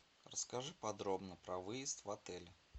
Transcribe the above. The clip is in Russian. расскажи подробно про выезд в отель